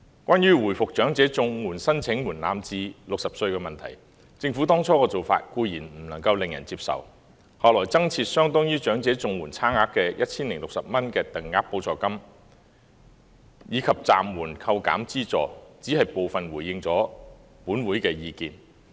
關於回復長者綜援申領門檻至60歲的問題，政府當初的做法固然令人不能接受，而後來增設相當於長者綜援差額的 1,060 元就業支援補助金，以及暫緩扣減資助，也只是回應了本會的部分意見。